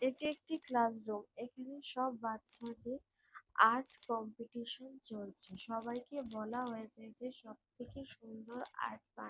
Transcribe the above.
এটি একটি ক্লাসরুম এখানে সব বাচ্চাদের আর্ট কম্পিটিশন চলছে সবাইকে বলা হয়েছে যে সবথেকে সুন্দর আর্ট বানিয়ে।